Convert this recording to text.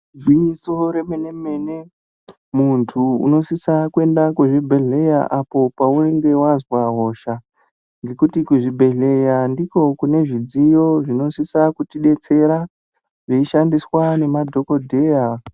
Igwinyiso remene-mene muntu unosisa kuyenda kuzvibhedhleya, apo paunenge wazwa hosha, ngekuti kuzvibhedhleya ndiko kunezvidziyo zvinosisa kuti detsera, zveyishandiswa nemadhokodheya.